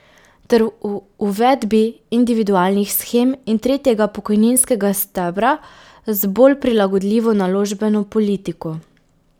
Ter v uvedbi individualnih shem in tretjega pokojninskega stebra z bolj prilagodljivo naložbeno politiko.